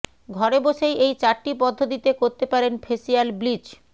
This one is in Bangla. ঘরে বসেই এই চারটি পদ্ধতিতে করতে পারেন ফেসিয়াল ব্লিচ